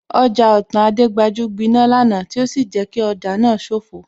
Ọjà Otan Ayégbajú gbiná lánàá tí ó sì jẹ́ kí ọjà náà sofoo